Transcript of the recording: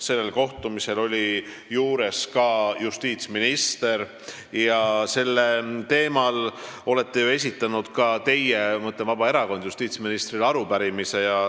Sellel kohtumisel oli ka justiitsminister ja sellel teemal olete ju ka teie, ma mõtlen Vabaerakonda, esitanud justiitsministrile arupärimise.